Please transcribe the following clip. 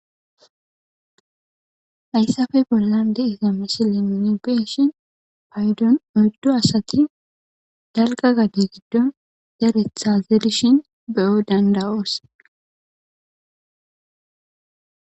Hayissappe bollani de'iza misileni nu be'ishini, oyiddu assati daligga gade gidoni zeretha zerishini be'o dandayosi.